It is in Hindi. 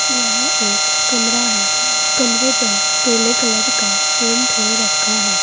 यह एक कमरा है कमरे पर पीले कलर का पेंट हो रखा है।